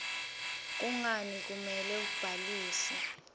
kungani kumele ubhalise